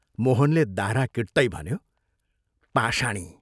मोहनले दाह्रा किट्तै भन्यो, "पाषाणी।